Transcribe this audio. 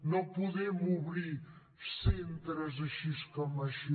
no podem obrir centres així com així